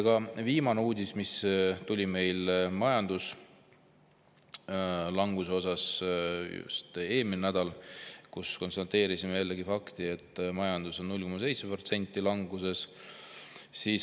Ka viimases uudises meie majanduslanguse kohta, mis tuli just eelmisel nädalal, konstateeriti jällegi fakti, et majandus on 0,7% languses.